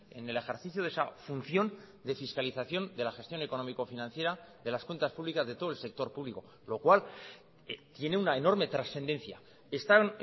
en el ejercicio de esa función de fiscalización de la gestión económico financiera de las cuentas públicas de todo el sector público lo cual tiene una enorme trascendencia están